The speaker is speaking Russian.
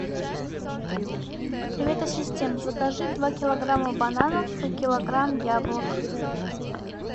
привет ассистент закажи два килограмма бананов и килограмм яблок